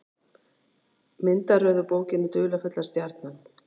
Myndaröð úr bókinni Dularfulla stjarnan.